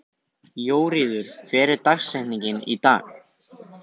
Jóríður, hver er dagsetningin í dag?